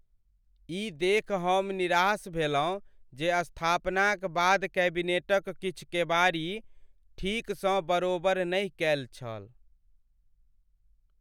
ई देखि हम निराश भेलहुँ जे स्थापनाक बाद कैबिनेटक किछु केबाड़ी ठीकसँ बरोबरि नहि कएल छल।